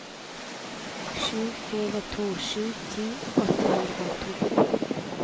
sju fire to sju ti åtte hundre og to